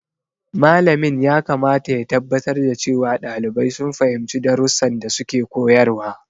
Malamin yakamata ya tabbatar da cewa ɗalibai sun fahimci darussan da suke koyarwa.